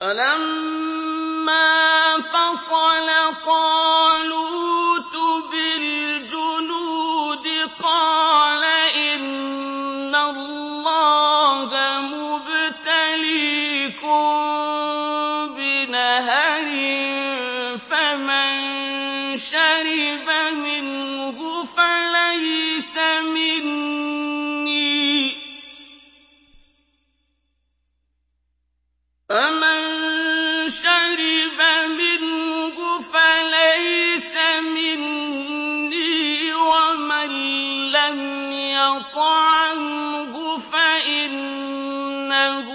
فَلَمَّا فَصَلَ طَالُوتُ بِالْجُنُودِ قَالَ إِنَّ اللَّهَ مُبْتَلِيكُم بِنَهَرٍ فَمَن شَرِبَ مِنْهُ فَلَيْسَ مِنِّي وَمَن لَّمْ يَطْعَمْهُ فَإِنَّهُ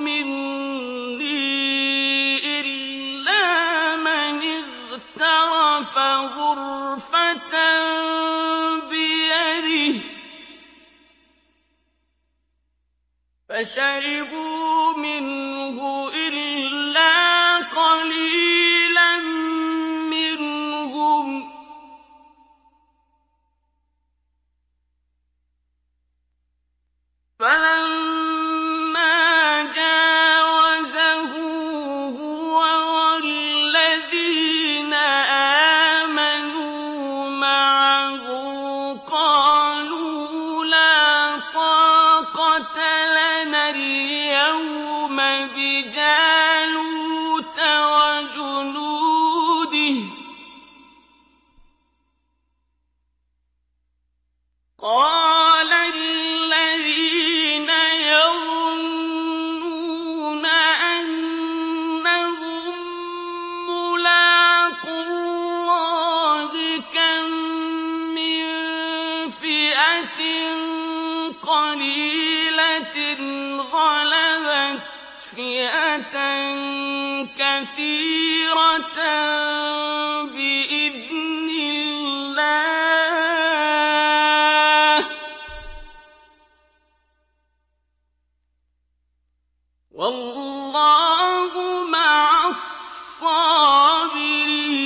مِنِّي إِلَّا مَنِ اغْتَرَفَ غُرْفَةً بِيَدِهِ ۚ فَشَرِبُوا مِنْهُ إِلَّا قَلِيلًا مِّنْهُمْ ۚ فَلَمَّا جَاوَزَهُ هُوَ وَالَّذِينَ آمَنُوا مَعَهُ قَالُوا لَا طَاقَةَ لَنَا الْيَوْمَ بِجَالُوتَ وَجُنُودِهِ ۚ قَالَ الَّذِينَ يَظُنُّونَ أَنَّهُم مُّلَاقُو اللَّهِ كَم مِّن فِئَةٍ قَلِيلَةٍ غَلَبَتْ فِئَةً كَثِيرَةً بِإِذْنِ اللَّهِ ۗ وَاللَّهُ مَعَ الصَّابِرِينَ